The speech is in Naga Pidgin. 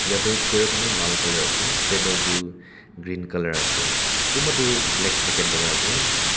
yate chair khan tu lal colour ase table tu green colour ase kunba tu black jacket lagai ase.